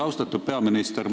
Austatud peaminister!